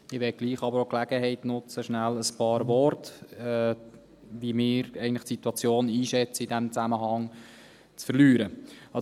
Ich möchte aber die Gelegenheit trotzdem auch nutzen, schnell ein paar Worte darüber zu verlieren, wie wir die Situation in diesem Zusammenhang einschätzen.